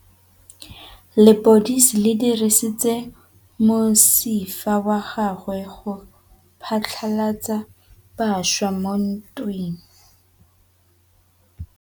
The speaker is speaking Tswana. Lepodisa le dirisitse mosifa wa gagwe go phatlalatsa batšha mo ntweng.